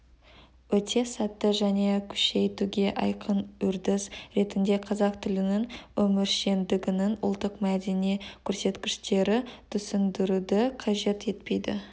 өте сәтті және күшейтуге айқын үрдіс ретінде қазақ тілінің өміршеңдігінің ұлттық-мәдени көрсеткіштері түсіндіруді қажет етпейді